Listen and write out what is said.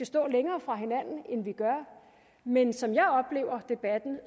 stå længere fra hinanden end vi gør men som jeg oplever debatten